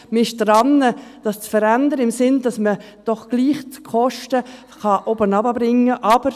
Man ist daran, dies zu verändern, in dem Sinn, dass man die Kosten gleichwohl hinunterbringen könnte.